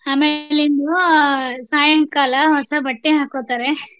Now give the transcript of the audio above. ಆಮೇಲಿಂದು ಸಾಯಂಕಾಲ ಹೊಸ ಬಟ್ಟೆ ಹಾಕೊತಾರೆ.